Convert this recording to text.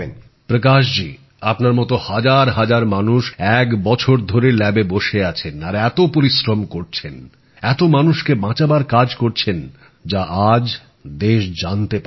প্রকাশ জী আপনার মতো হাজার হাজার মানুষ এক বছর ধরে পরীক্ষাগারে বসে আছেন আর এত পরিশ্রম করছেন এত মানুষকে বাঁচাবার কাজ করছেন যা আজ দেশ জানতে পারছে